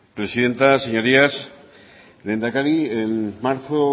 presidenta señorías lehendakari en marzo